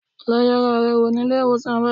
Lọ yẹra rẹ wò ní ilé-ìwọ̀sàn báyìí